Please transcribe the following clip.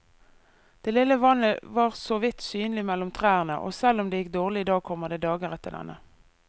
Det lille vannet var såvidt synlig mellom trærne, og selv om det gikk dårlig i dag, kommer det dager etter denne.